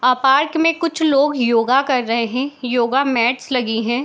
अ park मे कुछ लोग योगा कर रहे है योगा मेट्स लगी है।